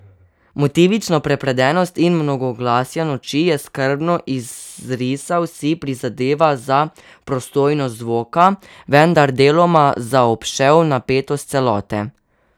Motivično prepredenost in mnogoglasja Noči je skrbno izrisal, si prizadeval za prosojnost zvoka, vendar deloma zaobšel napetost celote.